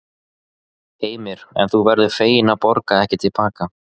Heimir: En þú verður fegin að borga ekki til baka?